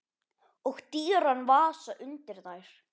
Og dýran vasa undir þær.